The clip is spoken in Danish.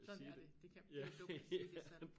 Sådan er det det kan det ik dumt at sige det så